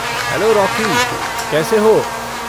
Hello Rocky, कैसे हो?